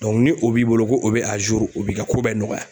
ni o b'i bolo ko o be o b'i ka ko bɛɛ nɔgɔya.